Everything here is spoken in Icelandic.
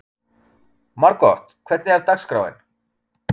Margot, hvernig er dagskráin?